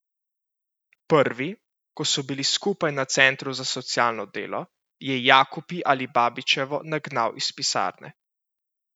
Prvi, ko so bili skupaj na centru za socialno delo, je Jakupi Alibabićevo nagnal iz pisarne.